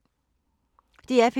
DR P2